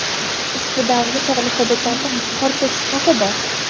Ushbu davrda tog‘li hududlarda qor ko‘chishi xavfi bor.